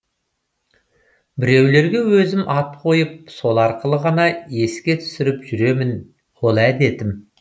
біреулерге өзім ат қойып сол арқылы ғана еске түсіріп жүремін ол әдетім